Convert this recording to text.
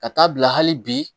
Ka taa bila hali bi